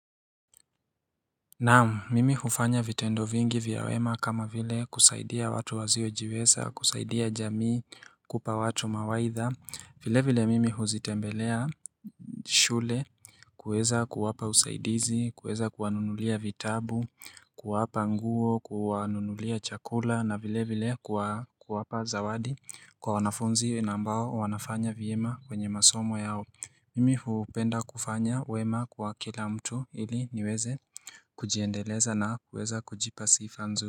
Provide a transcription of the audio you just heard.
Naam, mimi hufanya vitendo vingi vya wema kama vile kusaidia watu wasiojiweza, kusaidia jamii kupa watu mawaidha, vile vile mimi huzitembelea shule kuweza kuwapa usaidizi, kuweza kuwanunulia vitabu, kuwapa nguo, kuwanunulia chakula na vile vile kuwapa zawadi kwa wanafunzi na ambao wanafanya vyema kwenye masomo yao. Mimi hupenda kufanya wema kwa kila mtu ili niweze kujiendeleza na kuweza kujipa sifa nzuri.